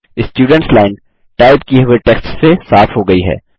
students line type किये हुए text से साफ़ हो गयी है